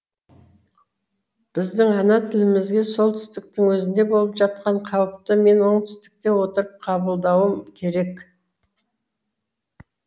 біздің ана тілімізге солтүстіктің өзінде болып жатқан қауіпті мен оңтүстікте отырып қабылдауым керек